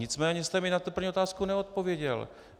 Nicméně jste mi na tu první otázku neodpověděl.